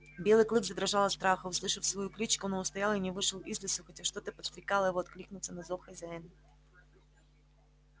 белый клык задрожал от страха услышав свою кличку но устоял и не вышел из лесу хотя что-то подстрекало его откликнуться на зов хозяина